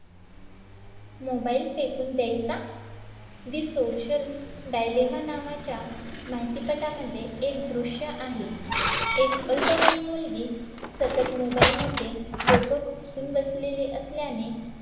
mobile फेकून द्यायचा The Social Dilemma नावाच्या माहितीपटामध्ये एक दृश्य आहे एक अल्पवयीन मुलगी सतत mobile मध्ये डोकं खुपसून बसलेली असल्याने